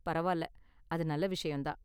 பரவால்ல, அது நல்ல விஷயம் தான்